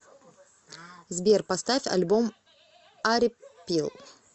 сбер поставь альбом арипил